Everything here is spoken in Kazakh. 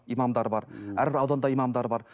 имамдар бар әрбір ауданда имамдары бар